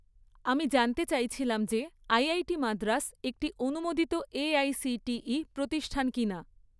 আমি জানতে চাইছিলাম যে আইআইটি মাদ্রাস একটি অনুমোদিত এআইসিটিই প্রতিষ্ঠান কিনা?